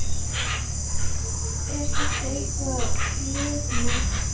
Er þetta eitthvað lögmál?